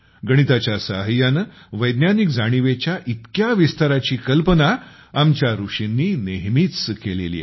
गणिताच्या साहाय्याने वैज्ञानिक जाणिवेच्या इतक्या विस्ताराची कल्पना आमच्या ऋषींनी नेहमीच केलेली आहे